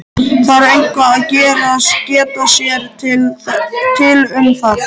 Þarf eitthvað að geta sér til um það?